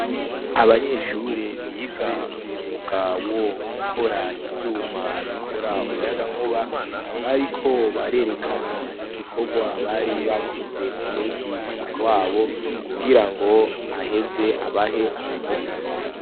Abanyeshure biga umwuga wo gukora ivyuma bikora umuyagankuba bariko barerekana igikorwa bari bakoze ku mwigisha wabo kugirango aheze abahe amanota.